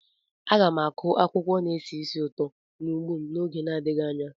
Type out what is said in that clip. Aga m akụ akwụkwọ na-esi ísì ụtọ n'ugbo m n'oge adịghị anya.